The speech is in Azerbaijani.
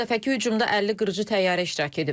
Bu dəfəki hücumda 50 qırıcı təyyarə iştirak edib.